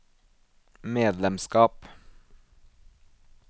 medlemskap